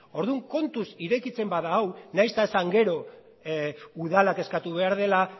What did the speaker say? orduan kontuz irekitzen bada hau nahiz eta esan gero udalak eskatu behar duela